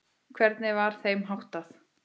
Hvernig var þeim háttað?